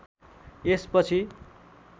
यस पछि